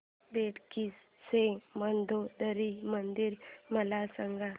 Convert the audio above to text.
बेटकी चे मंदोदरी मंदिर मला सांग